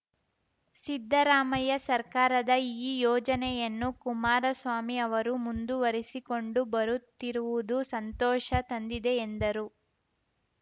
ಸಿದ್ದರಾಮಯ್ಯ ಸರ್ಕಾರದ ಈ ಯೋಜನೆಯನ್ನು ಕುಮಾರಸ್ವಾಮಿ ಅವರು ಮುಂದುವರಿಸಿಕೊಂಡು ಬರುತ್ತಿರುವುದು ಸಂತೋಷ ತಂದಿದೆ ಎಂದರು